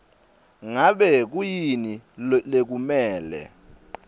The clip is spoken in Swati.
ngabe kuyini lekumele